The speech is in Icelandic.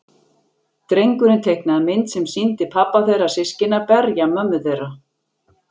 Drengurinn teiknaði mynd sem sýndi pabba þeirra systkina berja mömmu þeirra.